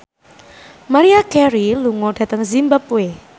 Maria Carey lunga dhateng zimbabwe